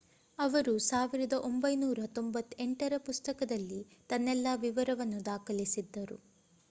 ಅವರು 1998ರ ಪುಸ್ತಕದಲ್ಲಿ ತನ್ನೆಲ್ಲ ವಿವರವನ್ನು ದಾಖಲಿಸಿದ್ದರು